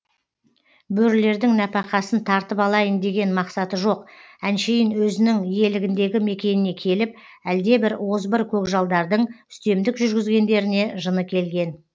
бөрілердің нәпақасын тартып алайын деген мақсаты жоқ әншейін өзінің иелігіндегі мекеніне келіп әлде бір озбыр көкжалдардың үстемдік жүргізгендеріне жыны келген